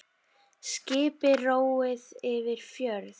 Skipi róið yfir fjörð.